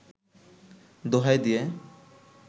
দোহাই দিয়ে